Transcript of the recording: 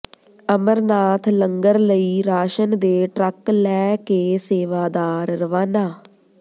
ਅਮਰਨਾਥ ਲੰਗਰ ਲਈ ਰਾਸ਼ਨ ਦੇ ਟਰੱਕ ਲੈ ਕੇ ਸੇਵਾਦਾਰ ਰਵਾਨਾ